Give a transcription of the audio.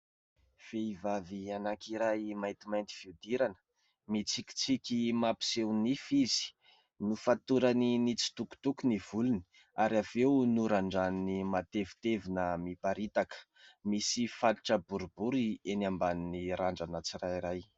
Vehivavy anankiray maitimainty fihodirana. Mitsikintsiky mampiseho nify izy. Nofatorany nitsitokotoko ny volony ary avy eo norandraniny matevitevina mimparitaka misy fatotra boribory eny ambanin'ny randrana tsirairay.